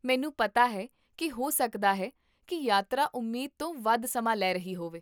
ਮੈਨੂੰ ਪਤਾ ਹੈ ਕੀ ਹੋ ਸਕਦਾ ਹੈ ਕੀ ਯਾਤਰਾ ਉਮੀਦ ਤੋਂ ਵੱਧ ਸਮਾਂ ਲੈ ਰਹੀ ਹੋਵੇ?